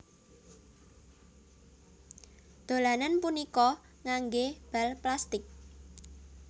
Dolanan punika nganggé bal plastik